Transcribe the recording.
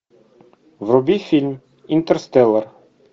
вруби фильм интерстеллар